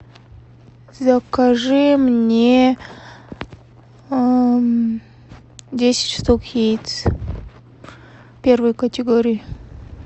закажи мне десять штук яиц первой категории